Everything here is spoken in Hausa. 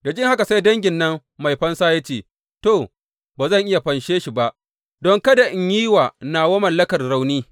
Da jin haka, sai dangin nan mai fansa ya ce, To, ba zan iya fanshe shi ba don kada in yi wa nawa mallakar rauni.